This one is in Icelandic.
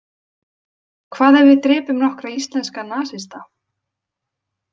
Hvað ef við drepum nokkra íslenska nasista?